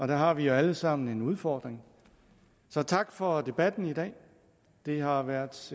der har vi jo alle sammen en udfordring tak for debatten i dag det har været